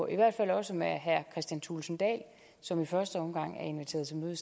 i hvert fald også med herre kristian thulesen dahl som i første omgang er inviteret til møde